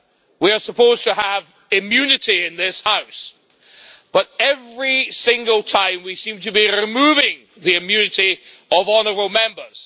We are supposed to have immunity in this House, but every single time, we seem to be removing the immunity of honourable Members.